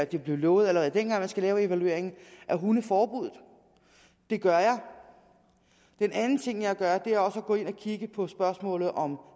det blev lovet allerede dengang at man skal lave evalueringen af hundeforbuddet det gør jeg den anden ting jeg gør er også at gå ind og kigge på spørgsmålet om